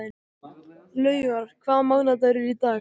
Laufar, hvaða mánaðardagur er í dag?